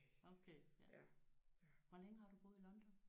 Okay ja. Hvor længe har du boet i London?